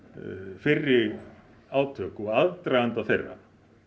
fyrri átök og aðdraganda þeirra